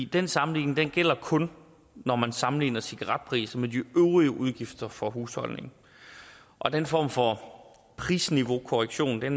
den sammenligning gælder kun når man sammenligner cigaretpriser med de øvrige udgifter for husholdningen og den form for prisniveaukorrektion er